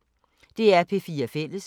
DR P4 Fælles